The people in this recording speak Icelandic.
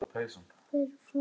Hver er framtíð mín?